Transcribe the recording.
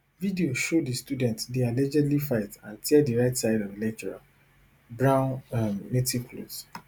video show di student dey allegedly fight and tear di right side of the lecturer brown um native clothes